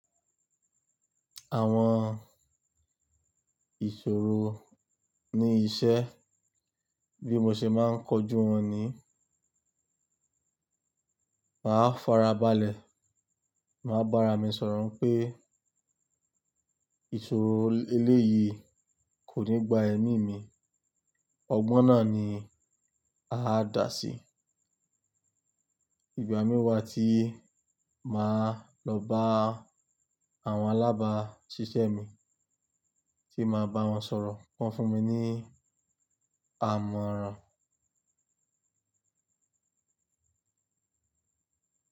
Àwọn ìṣòro ní iṣẹ́ bí mo ṣe máa ń kojú wọn ni, màá farabalẹ̀, màá bára mi sọ̀rọ̀ pé ìṣòro eléyìí kò ní gba ẹ̀mí mi. Ọgbọ́n náà ni a dà sí. Ìgbà mí wa tí màá lọ bá àwọn alábáṣiṣẹ́ mi tí màá bá wọn sọ̀rọ̀, wọ́n fún mi ní àmọ̀ran.